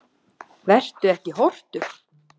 Vertu ekki hortug.